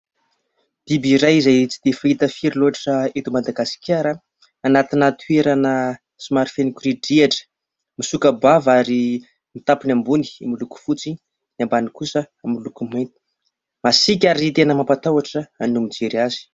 Biby iray izay tsy dia fahita firy loatra eto madagasikara. Anatin'ny toerana somary feno korindrihatra , misoka-bava ary ny tampany ambony miloko fotsy, ny ambany kosa amin'ny loko mainty. Masika ary tena mampatahotra no mijery azy.